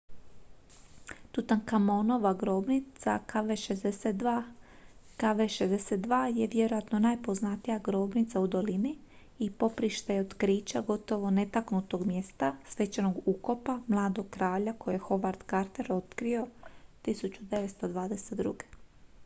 tutankamonova grobnica kv62. kv62 je vjerojatno najpoznatija grobnica u dolini i poprište je otkrića gotovo netaknutog mjesta svečanog ukopa mladog kralja koje je howard carter otkrio 1922